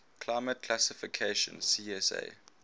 climate classification csa